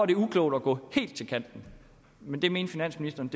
det uklogt at gå helt til kanten men det mente finansministeren